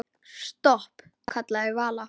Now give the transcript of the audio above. Stopp, kallaði Vala.